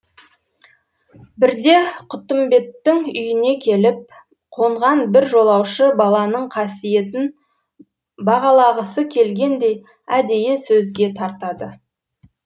бірде құттымбеттің үйіне келіп қонған бір жолаушы баланың қасиетін бағалағысы келгендей әдейі сөзге тартады